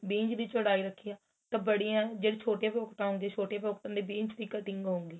ਵੀਹ ਇੰਚ ਦੀ ਚੋੜਾਈ ਰੱਖੀ ਏ ਬੜੀ ਏ ਜਿਹੜੇ ਛੋਟੇ pocket ਹੁੰਦੇ ਏ ਛੋਟੇ pocket ਵੀਹ ਇੰਚ ਦੀ cutting ਹੋਊਗੀ